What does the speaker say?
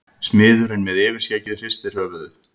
Smiðurinn með yfirskeggið hristir höfuðið.